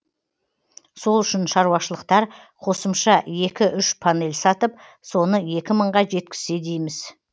сол үшін шаруашылықтар қосымша екі үш панель сатып соны екі мыңға жеткізсе дейміз